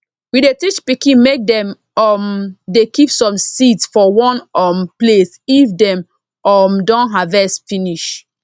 we dey teach pikin make dem um dey keep some seeds for one um place if dem um don harvest finish